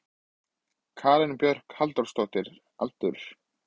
Karen Björg Halldórsdóttir Aldur?